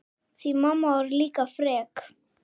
Því mamma var líka frek.